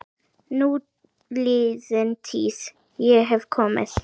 Núliðin tíð- ég hef komið